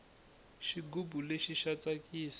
xigubu lexi xa tsakisa